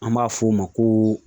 An b'a f'o ma ko